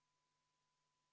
Head ametikaaslased!